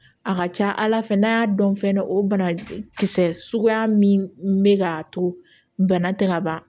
A ka ca ala fɛ n'a y'a dɔn fɛnɛ o bana kisɛ suguya min be k'a to bana tɛ ka ban